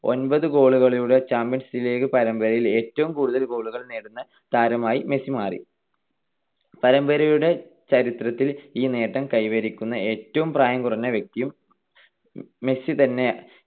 ഒമ്പത് goal കളോടെ Champions League പരമ്പരയിൽ ഏറ്റവും കൂടുതൽ goal കൾ നേടുന്ന താരമായി മെസ്സി മാറി. പരമ്പരയുടെ ചരിത്രത്തിൽ ഈ നേട്ടം കൈവരിക്കുന്ന ഏറ്റവും പ്രായം കുറഞ്ഞ വ്യക്തിയും മെസ്സി തന്നെ